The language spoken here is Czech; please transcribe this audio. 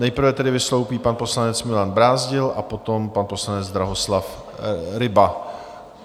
Nejprve tedy vystoupí pan poslanec Milan Brázdil a potom pan poslanec Drahoslav Ryba.